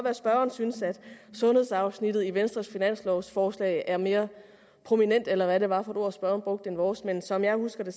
at spørgeren synes at sundhedsafsnittet i venstres finanslovforslag er mere prominent eller hvad det var for et ord spørgeren brugte end vores men som jeg husker det